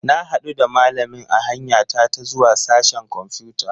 Na hadu da malamin a hanya ta ta zuwa sashen kwamfuta.